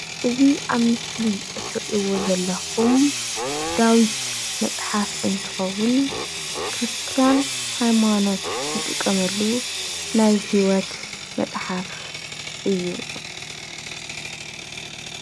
እዚ ኣብ ምስሊ እትርይዎ ዘለኹም ዳዊት መፅሓፍ እንትኸውን ክርስትያን ሃይማኖት ናይ ሂወት ዝጥቀምሉ መፅሓፍ እዩ፡፡